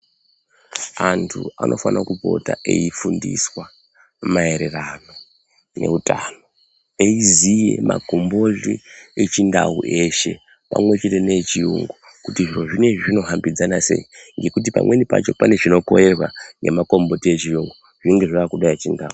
Antu anofana kupota eyi fundiswa maererano ne utano eyiziye makomboti echi ndau eshe pamwe chete ne e chiyungu kuti zviro zvinezvi zvino hambidzana sei ngekuti pamweni pacho pane chino korerwa nema komboti echiyungu zvinenge zvakuda echindau.